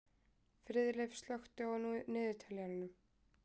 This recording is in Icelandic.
Friðleif, slökktu á niðurteljaranum.